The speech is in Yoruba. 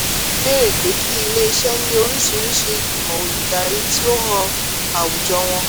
nccg béèrè pé kí ilé-iṣẹ́ ní oríṣiríṣi ìgbìmọ̀ olùdarí tí ó hàn àwùjọ wọn.